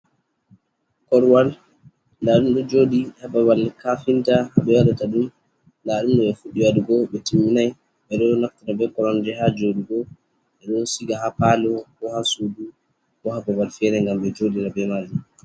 Korowal ndaa ɗum ɗo jooɗi haa babal kafinta ɓe waɗata ɗum. Ndaa ɗum ɓe fuɗɗi waɗugo ɓe timminay .Ɓe ɗo naftira be koromje haa jooɗugo ɓe ɗo siga haa paalo, bo haa suudu, bo haa babal feere ,ngam ɓe jooɗira be maajum.